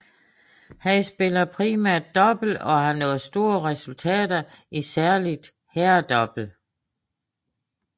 Han spiller primært double og har nået store resultater i særligt herredouble